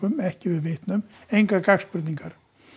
ekki yfir vitnum engar gagnspurningar